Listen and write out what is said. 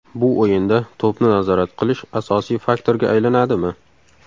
Bu o‘yinda to‘pni nazorat qilish asosiy faktorga aylanadimi?